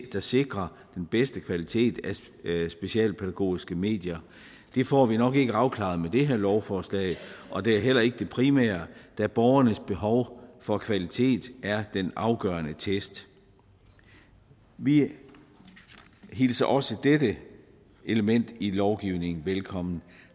der sikrer den bedste kvalitet af specialpædagogiske medier det får vi nok ikke afklaret med det her lovforslag og det er heller ikke det primære da borgernes behov for kvalitet er den afgørende test vi hilser også dette element i lovgivningen velkommen